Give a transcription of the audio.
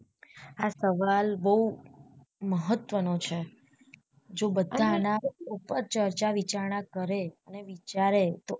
આ સવાલ બઉ મહત્વ નો છે જો બધા આના પર ચર્ચા વિચારણા કરે અને વિચારે તો